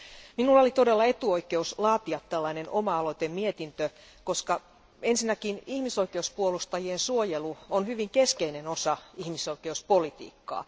Minulla oli todella etuoikeus laatia valiokunta aloitteinen mietintö, koska ensinnäkin ihmisoikeuspuolustajien suojelu on hyvin keskeinen osa ihmisoikeuspolitiikkaa.